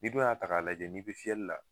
Ni dun y'a ta ka lajɛ ni bi fiyɛli la.